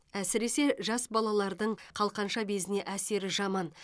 әсіресе жас балалардың қалқанша безіне әсері жаман